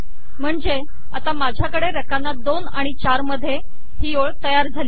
म्हणजे आता माझ्याकडे रकाना 2 आणि 4 मध्ये ही ओळ तयार झाली आहे